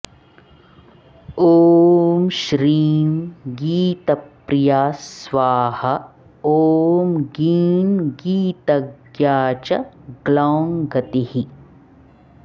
ॐ श्रीं गीतप्रिया स्वाहा ॐ गीं गीतज्ञा च ग्लौं गतिः